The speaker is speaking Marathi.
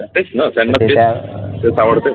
तेच न ते ताबडतोब